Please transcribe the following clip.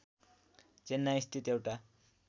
चेन्नइ स्थित एउटा